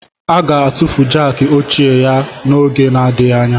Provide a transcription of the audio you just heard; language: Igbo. A ga-atụfu Jákii ochie ya n'oge adịghị anya